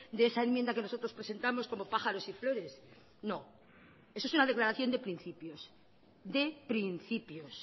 de esa enmienda que nosotros presentamos como pájaros y flores no eso es una declaración de principios de principios